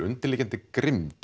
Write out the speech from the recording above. undirliggjandi grimmd